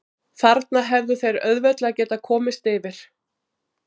Þarna hefðu þeir auðveldlega getað komist yfir.